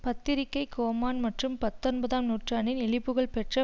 பத்திரிகைக் கோமான் மற்றும் பத்தொன்பதாம் நூற்றாண்டில் இழிபுகழ் பெற்ற